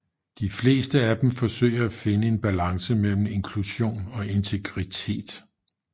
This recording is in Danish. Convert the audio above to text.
De fleste af dem forsøger at finde en balance mellem inklusion og integritet